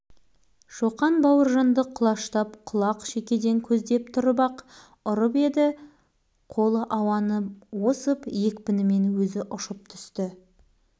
мә саған бауыржан бауыржан бұғып қалған бойын қайта тіктеп жымиып қарап тұр бүкіл сынып қыран күлкіге